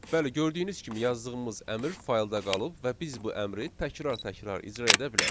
Bəli, gördüyünüz kimi yazdığımız əmr faylda qalıb və biz bu əmri təkrar-təkrar icra edə bilərik.